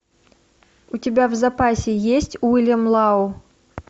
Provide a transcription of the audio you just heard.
у тебя в запасе есть уильям лау